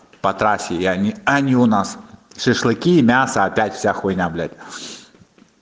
по трассе и они они у нас шашлыки мясо опять вся хуйня блядь